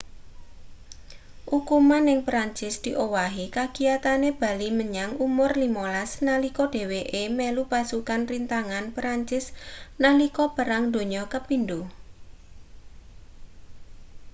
ukuman ning perancis diowahi kagiyatane bali menyang umur 15 nalika dheweke melu pasukan rintangan perancis nalika perang donya ii